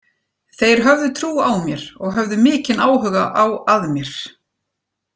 Þeir höfðu trú á mér og höfðu mikinn áhuga á að mér.